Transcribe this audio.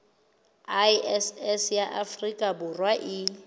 iss ya afrika borwa e